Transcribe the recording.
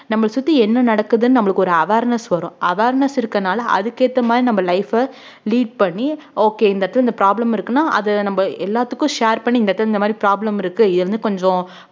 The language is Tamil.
நம்மள சுத்தி என்ன நடக்குதுன்னு நம்மளுக்கு ஒரு awareness வரும் awareness இருக்கறதுனால அதுக்கேத்த மாதிரி நம்ம life அ lead பண்ணி okay இந்த இடத்துல இந்த problem இருக்குன்னா அத நம்ம எல்லாத்துக்கும் share பண்ணி இந்த இடத்துல இந்த மாதிரி problem இருக்கு கொஞ்சம்